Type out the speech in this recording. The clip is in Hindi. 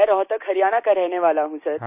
मैं रोहतक हरियाणा का रहने वाला हूँ सर